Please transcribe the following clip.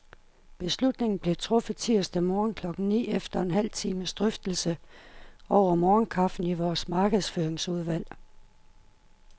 Beslutningen blev truffet tirsdag morgen klokken ni, efter en halv times drøftelse over morgenkaffen i vores markedsføringsudvalg.